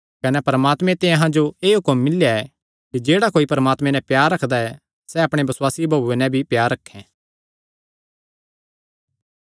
कने परमात्मे ते अहां जो एह़ हुक्म मिल्लेया ऐ कि जेह्ड़ा कोई परमात्मे नैं प्यार रखदा ऐ सैह़ अपणे बसुआसी भाऊये नैं भी प्यार रखैं